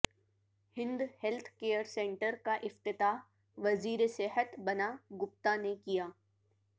ہند health care centre کا افتتاح وزیر صحت بنا گپتا نے کیا